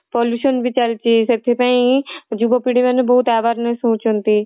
pollution ବି ଚାଲିଛି ସେଥି ପାଇଁ ଯୁବ ପିଢ଼ି ମାନେ ବହୁତ awareness ହଉଛନ୍ତି